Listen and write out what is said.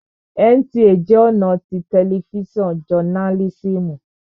NTA jẹ́ ọ̀nà tí tẹlifísàn jọnálísìmù